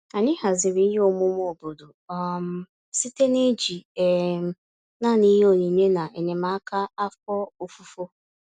Anyị haziri ihe omume obodo um site n'iji um naanị ihe onyinye na enyemaka afọ ofufo.